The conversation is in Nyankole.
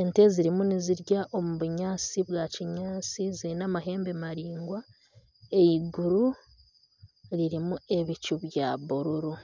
Ente zirimu nizirya omu bunyaatsi bwa kinyaatsi ziine amahembe maraingwa iguru ririmu ebicu bya buruuru,